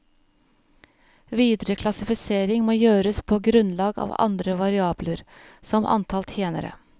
Videre klassifisering må gjøres på grunnlag av andre variabler, som antall tjenere.